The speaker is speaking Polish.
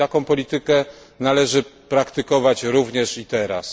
I taką politykę należy praktykować również i teraz.